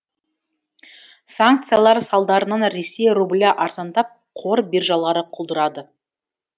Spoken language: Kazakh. санкциялар салдарынан ресей рублі арзандап қор биржалары құлдырады